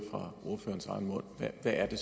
vil er det